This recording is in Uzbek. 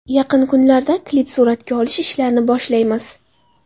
Yaqin kunlarda klip suratga olish ishlarini boshlaymiz.